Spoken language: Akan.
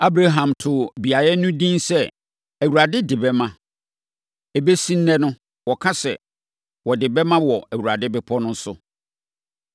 Abraham too beaeɛ no din sɛ Awurade De Bɛma. Ɛbɛsi ɛnnɛ no wɔka sɛ, “wɔde bɛma wɔ Awurade bepɔ no so.”